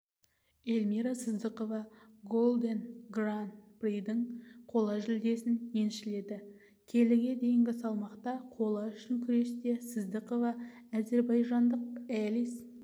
эльмира сыздықова голден гран-придің қола жүлдесін еншіледі келіге дейінгі салмақта қола үшін күресте сыздықова әзербайжандық элис